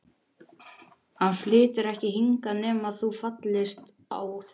Hann flytur ekki hingað nema þú fallist á það.